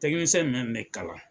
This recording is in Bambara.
Tɛkinisɛn mɛn bɛ kalan.